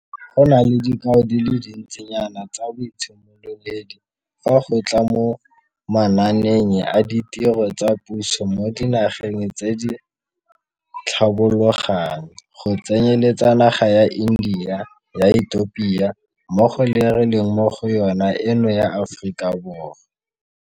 Go na le dikao di le dintsinyana tsa boitshimololedi fa go tla mo manaaneng a ditiro tsa puso mo dinageng tse di tlhabologang, go tsenyeletsa naga ya India, ya Ethiopia mmogo le e re leng mo go yona eno ya Aforika Borwa.